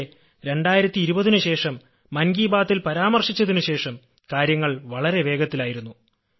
പക്ഷെ 2020ന് ശേഷം മൻ കീ ബാത്തിൽ പരാമർശിച്ചതിനു ശേഷം കാര്യങ്ങൾ വളരെ വേഗത്തിലായിരുന്നു